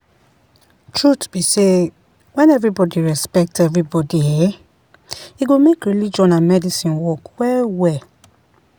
truth be sey when everybody respect everybody[um]e go make religion and medicine work well well